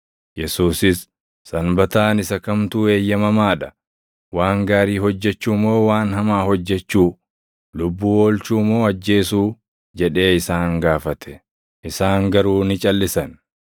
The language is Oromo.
Yesuusis, “Sanbataan isa kamtu eeyyamamaa dha? Waan gaarii hojjechuu moo waan hamaa hojjechuu? Lubbuu oolchuu moo ajjeesuu?” jedhee isaan gaafate. Isaan garuu ni calʼisan.